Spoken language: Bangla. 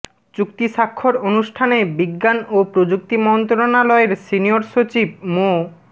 চুক্তি স্বাক্ষর অনুষ্ঠানে বিজ্ঞান ও প্রযুক্তি মন্ত্রণালয়ের সিনিয়র সচিব মো